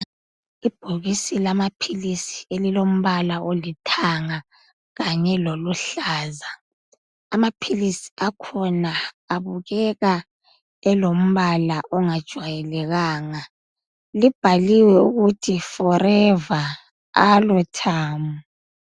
Ibhokisi lamaphilisi elilombala olithanga kanye loluhlaza amaphilisi akhona abukeka elombala ongajayelekanga libhaliwe ukuthi forever aloe turm.